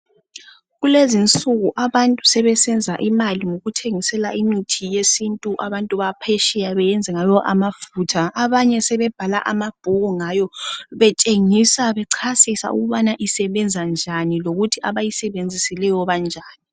Kulezi insuku abantu sebesenza imali ngokuthengisela imithi yesintu abantu baphesheya ukuthi bayenze ngayo amafutha okugcoba. Abanye sebebhala amabhuku ngayo betshengisa njalo bechasisa ukubana isebenza njani lokuthi abayisebenzisileyo banjani.